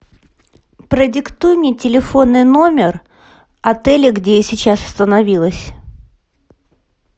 продиктуй мне телефонный номер отеля где я сейчас остановилась